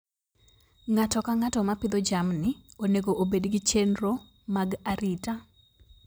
Ng'ato ka ng'ato ma pidho jamni onego obed gi chenro mag arita.